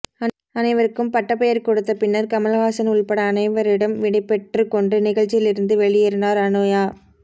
அனைவருக்கும் பட்டப்பெயர் கொடுத்த பின்னர் கமல்ஹாசன் உள்பட அனைவரிடம் விடைபெற்று கொண்டு நிகழ்ச்சியில் இருந்து வெளியேறினார் அனுயா